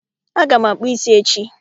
Aga m akpụ ísí echi